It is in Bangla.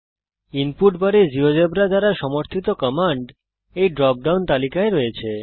ইনপুট বারে জীয়োজেব্রা দ্বারা সমর্থিত কমান্ড এই ড্রপ ডাউন তালিকায় আছে